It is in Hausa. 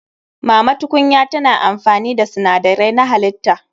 Mama tukunya tana amfani da sinadarai na halitta.